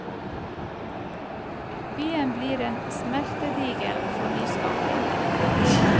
Byen blir en smeltedigel for nyskapning.